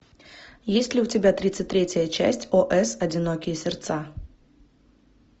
есть ли у тебя тридцать третья часть ос одинокие сердца